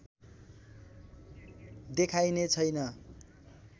देखाइने छैन